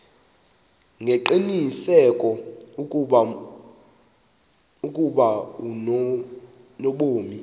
ngengqiniseko ukuba unobomi